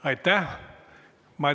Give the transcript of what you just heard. Aitäh!